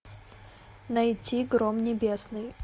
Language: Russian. найти гром небесный